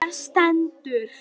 Þar stendur: